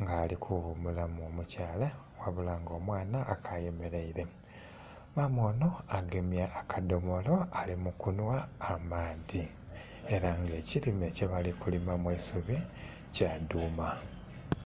nga alikughumula omukyala wabula nga omwana ayemeraire. Maama ono agemye akadhomolo alimukunhwa amaadhi era nga ekirime kyebalikulimamu eisubi kyadhuma.